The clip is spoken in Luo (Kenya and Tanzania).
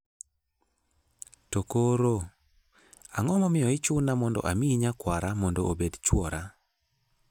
To koro, ang'o momiyo ichuna mondo amiyi nyakwara mondo obed chwora?